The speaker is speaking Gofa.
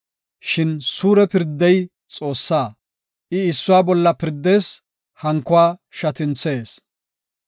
Shin suure pirdey Xoossaa; I issuwa bolla pirdees; hankuwa shatinthees.